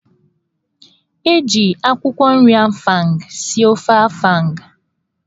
E ji akwụkwọ nri afang (ụkazị) sie ofe afang.